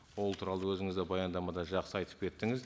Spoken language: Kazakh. ол туралы өзіңіз де баяндамада жақсы айтып кеттіңіз